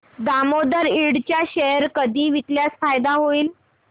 दामोदर इंड चे शेअर कधी विकल्यास फायदा होईल